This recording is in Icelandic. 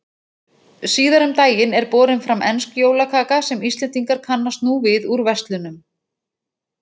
Síðar um daginn er borin fram ensk jólakaka sem Íslendingar kannast nú við úr verslunum.